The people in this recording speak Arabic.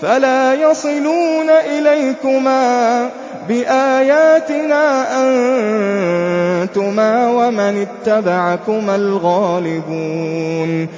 فَلَا يَصِلُونَ إِلَيْكُمَا ۚ بِآيَاتِنَا أَنتُمَا وَمَنِ اتَّبَعَكُمَا الْغَالِبُونَ